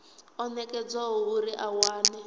o nekedzwaho uri a wane